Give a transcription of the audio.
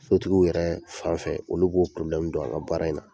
Sotigiw yɛrɛ fan fɛ, olu b'o don, an ga baara in na.